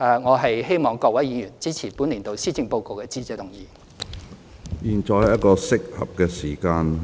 我希望各位議員支持本年度施政報告的致謝議案。